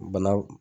Bana